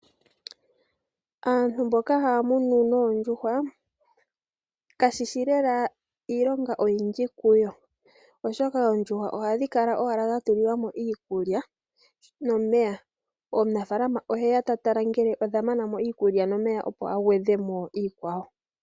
Aantu mboka haya munu noondjuhwa, kashishi lela iilonga oyindji kuyo oshoka oondjuhwa ohadhi kala dhatulilwa mo iikulya nomeya. Omunafaalama oheya ta tala ngele odha mana mo iikulya nomeya opo a gwedhe mo iikwawo.